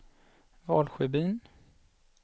Valsjöbyn